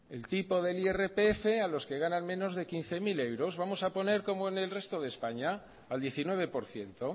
el tipo del irpf a los que ganan menos de quince mil euros vamos a poner como en el resto de españa al diecinueve por ciento